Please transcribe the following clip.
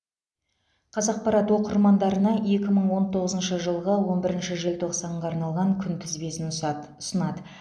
қазақпарат оқырмандарына екі мың он тоғызыншы жылғы он бірінші желтоқсанға арналған күнтізбесін ұсад ұсынады